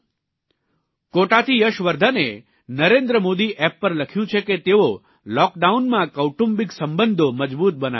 કોટાથી યશવર્ધને નરેન્દ્ર મોદી એપ પર લખ્યું છે કે તેઓ લૉકડાઉનમાં કૌટુંબિક સંબંધો મજબૂત બનાવી રહ્યા છે